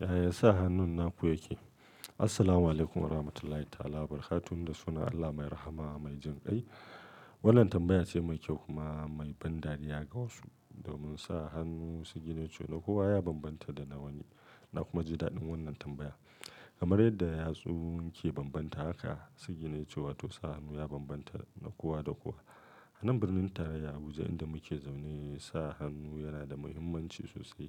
Yaya sa hannun naku yake? Assalamu alaikum Warahmatullahi Wabarakatuh. Da sunan Allah mai rahama mai jin kai. Wannan tambaya ce mai kyau kuma mai ban dariya ga wa su. Domin sa hannu siginece na kowa ya bambanta da na wani. Na kuma ji daɗin wannan tambaya. Kamar yadda yatsu ke bambanta haka siginece wato sa hannu ya bambanta na kowa da kowa. Anan birnin tarayya Abuja inda muke zaune, sa hannu yana da muhimmanci sosai.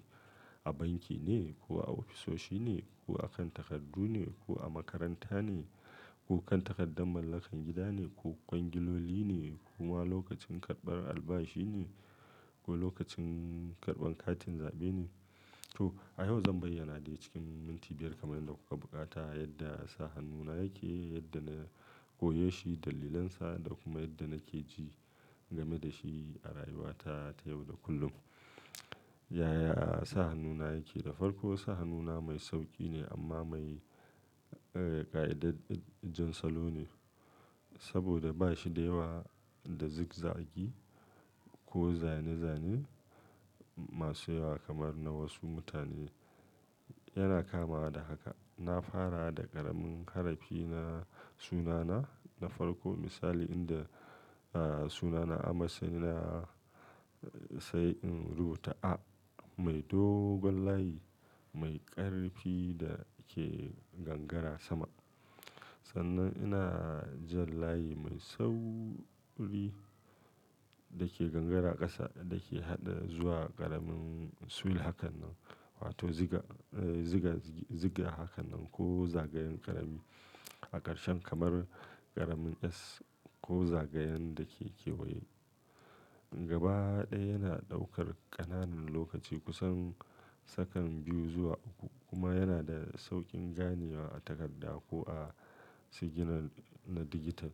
A banki ne ko a ofisoshi ne ko akan takardu ne ko a makaranta ne ko kan takaddar mallakar gida ne ko kwangiloli ne kuma lokacin karɓar albashi ne ko lokacin karɓan katin zaɓe ne to. A yau zan bayyana da cikin minti biyar kamar yadda kuka buƙata yadda sa hannuna yake, yadda na koyo shi, dalilansa da kuma yadda nake ji game da shi a rayuwata ta yau da kullum. Yaya sa hannuna yake? Da farko sa hannuna mai sauƙi ne amma mai, eh, ƙa'idar jan salo ne. Saboda ba shi da yawa da zig-zag ko zane-zanen masu yawa kamar na wasu mutane. Yana kamawa da haka. Na fara da ƙaramin harafi na-- sunana. Na farko misali inda, ah, sunana Ahmad sanye da tsayin rubuta A, mai dogon layi mai ƙarfi da ke gangara sama. Sannan ina jan layi mai sau ri da ke gangara ƙasa da ke haɗuwa da ƙaramin sul hakan nan wato ziga, eh, ziga, ziga haka nan ko zagayen ƙarami. A ƙarshe kamar ƙaramin s ko zagayen da ke kewaye. Gaba ɗaya yana ɗaukar ƙananan lokaci kusan sakanni biyu zuwa uku kuma yana da sauƙin ganewa a takarda ko a sigina na digital.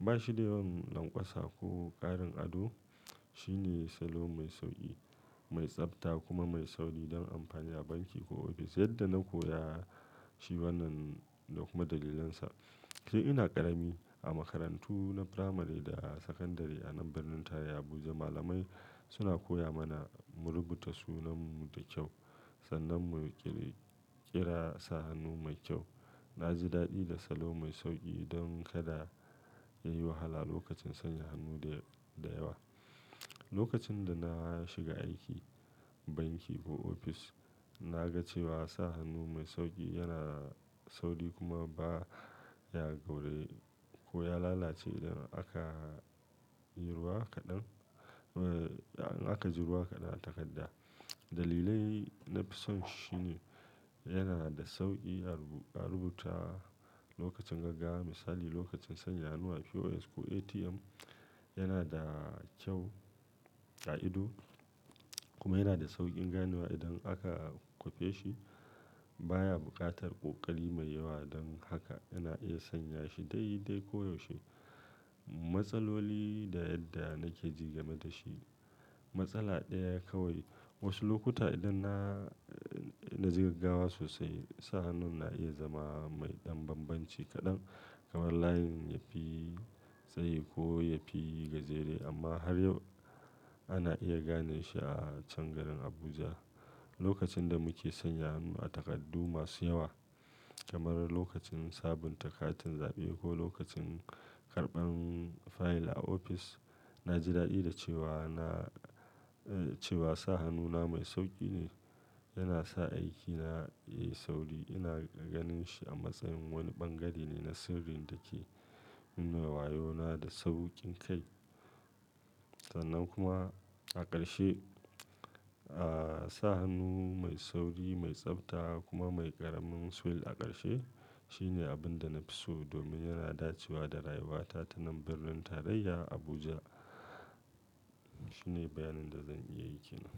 Ba shi da yawan lanƙwasa ko ƙarin ado. Shi ne salo mai sauƙi, mai tsafta kuma mai sauri don amfani a banki ko ofis. Yadda na koya shi wannan da kuma dalilansa. Sai ina ƙarami a makarantu na firamare da sakandare anan birnin tarayya Abuja, malamai suna koya mana mu rubuta sunanmu da kyau. Sannan mu ƙirƙira sa hannu mai kyau. Na ji daɗi da salo mai sauƙi don kada yayi wahala lokacin sanya hannu da, da yawa. Lokacin da na shiga aiki banki ko ofis, na ga cewa sa hannu mai sauƙi yana sauri kuma ba ya gauraye ko ya lalace idan aka yi ruwa kaɗan. Eh, an aka ji ruwa kaɗan a takarda. Dalilai na fi son shi ne yana da sauƙi a rubuta lokacin gaggawa. Misali lokacin sanya hannu a POS ko ATM. Yana da kyau, ƙa'ido kuma yana da sauƙin ganewa idan aka kwufe shi. Ba ya buƙatar ƙoƙari mai yawa don haka yana iya sanya shi dai-dai ko yaushe. Matsaloli da yadda nake ji game da shi. Matsala ɗaya kawai. Wasu lokuta idan na, na ji gaggawa sosai, sa hannun na iya zama mai ɗan bambanci kaɗan. Kamar layin yafi tsayi ko yafi gajere amma har yau ana iya ganin shi a can garin Abuja. Lokacin da muke sanya hannu a takardu masu yawa kamar lokacin sabunta katin zaɓe ko lokacin karɓan fayil a ofis, na ji daɗi da cewa na, eh, cewa sa hannuna mai sauƙi ne. Yana sa aikina yai sauri. Ina ganin shi a matsayin wani ɓangare ne na sirrin da ke nuna wayona da sauƙin kai. Sannan kuma a ƙarshe, ah, sa hannu mai sauri, mai tsafta kuma mai ƙaramin sul a ƙarshe shine abin da na fi so domin yana dacewa da rayuwata ta nan birnin tarayya Abuja. Shine bayanin da zan iya yi kenan.